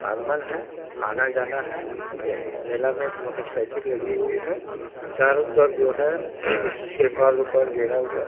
आगमन है आना जाना है मे मेला में मोटरसाइकिल लगी हुई है चारों तरफ जो है तिरपाल उरपाल गिरा हुआ है।